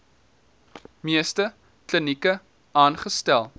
meeste klinieke aangestel